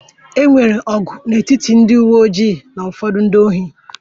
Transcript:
E nwere ọgụ n'etiti ndị uwe ojii na ụfọdụ ndị ohi